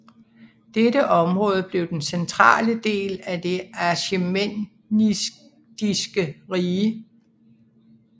Dette område blev den centrale del af det Achæmenidiske rige